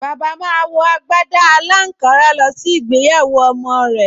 Bàbá máa wọ agbádá aláǹkárá lọ sí ìgbéyàwó ọmọ rẹ̀